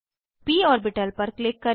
प ऑर्बिटल पर क्लिक करें